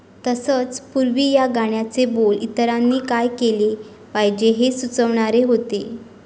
तसंच, पूर्वी या गाण्याचे बोल इतरांनी काय केलं पाहिजे हे सुचवणारे होते.